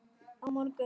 Á morgun